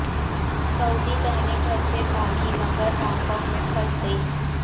سعودی بہنیں گھر سے بھاگیں مگر ہانگ کانگ میں پھنس گئیں